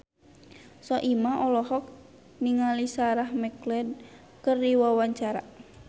Soimah olohok ningali Sarah McLeod keur diwawancara